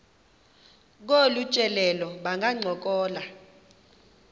kolu tyelelo bangancokola